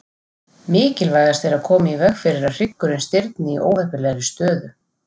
Mikilvægast er að koma í veg fyrir að hryggurinn stirðni í óheppilegri stöðu.